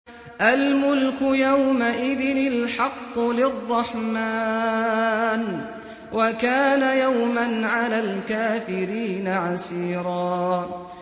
الْمُلْكُ يَوْمَئِذٍ الْحَقُّ لِلرَّحْمَٰنِ ۚ وَكَانَ يَوْمًا عَلَى الْكَافِرِينَ عَسِيرًا